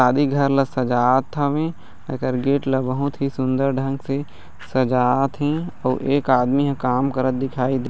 शादी घर ला सजात हावे एकर गेट ला बहुत ही सुन्दर ढंग से सजात हे आऊ एक आदमी ह काम करत दिखाई दे--